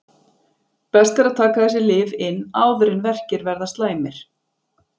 best er að taka þessi lyf inn áður en verkir verða slæmir